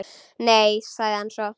Nei- sagði hann svo.